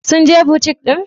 Sun je butik din?